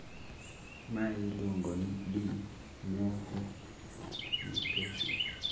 mae iluongo ni de novo mutation